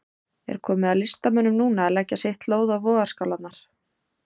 Er komið að listamönnunum núna að leggja sitt lóð á vogarskálarnar?